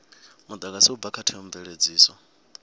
mudagasi u bva kha theomveledziso